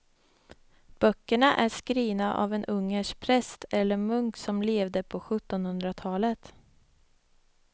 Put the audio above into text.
Böckerna är skrivna av en ungersk präst eller munk som levde på sjuttonhundratalet.